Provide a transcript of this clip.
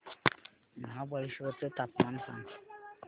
महाबळेश्वर चं तापमान सांग